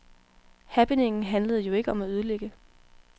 Happeningen handlede jo ikke om at ødelægge.